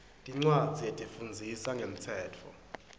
tincwadzi letifundzisa ngemtsetfo